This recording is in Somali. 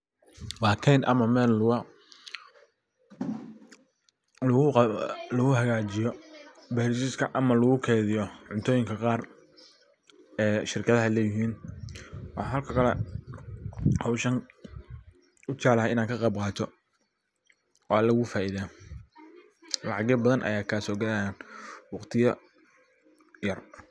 Waa keyn ama meel lagu hagajiyo bal juska ama lagu keydiyo cuntoyinka qaar. Ee shirkadaha leyihin waxan halkan kale howshan u jeclahay inan ka qeyb qato waa lagu faidda lacag yo badan ayaa kaso galayan waqtiya yar.